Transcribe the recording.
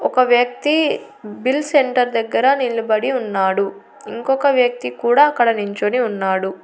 ఒక వ్యక్తి bill centre దగ్గర నిల్బడి ఉన్నాడు ఇంకొక వ్యక్తి కూడా అక్కడ నించొని ఉన్నాడు.